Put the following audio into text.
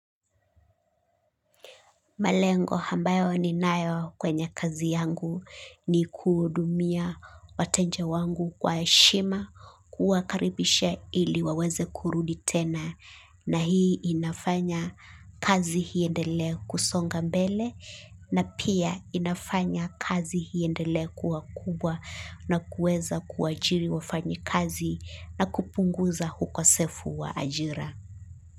Malengo hambayo ninayo kwenye kazi yangu ni kuhudumia wateja wangu kwa heshima kuwakaribishe ili waweze kurudi tena na hii inafanya kazi hiendele kusonga mbele na pia inafanya kazi iendelee kuwa kubwa na kuweza kuajili wafanyakazi na kupunguza ukosefu wa ajira.